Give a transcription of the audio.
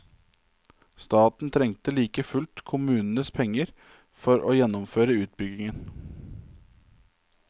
Staten trengte like fullt kommunenes penger for å gjennomføre utbyggingen.